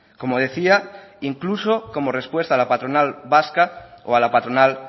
como decía incluso como respuesta a la patronal vasca o a la patronal